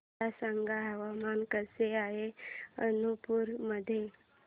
मला सांगा हवामान कसे आहे मणिपूर मध्ये